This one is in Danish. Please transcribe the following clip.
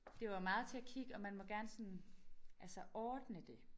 Det var meget til at kigge og man måtte gerne sådan altså ordne det